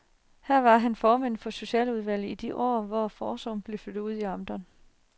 Her var han formand for socialudvalget i de år, hvor forsorgen blev flyttet ud i amterne.